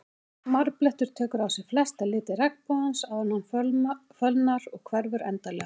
Marblettur tekur á sig flesta liti regnbogans áður en hann fölnar og hverfur endanlega.